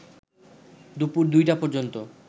দুপুর ২টা পর্যন্ত